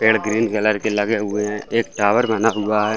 पेड़ green colour के लगे हुए हैं एक टावर बना हुआ है।